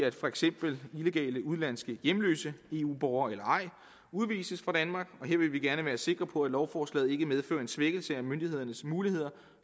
at for eksempel illegale udenlandske hjemløse eu borgere eller ej udvises fra danmark og her vil vi gerne være sikre på at lovforslaget ikke medfører en svækkelse af myndighedernes muligheder